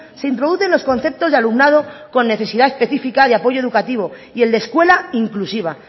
se introducen los conceptos de alumnado con necesidad específica de apoyo educativo y el de escuela inclusiva